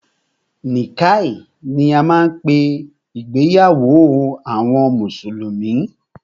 Nikkah ni a máa ń pé ìgbéyàwó àwọn mùsùlùmí.